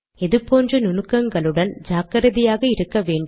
இது போன்ற நுணுக்கங்களுடன் ஜாக்கிரதையாக இருக்க வேண்டும்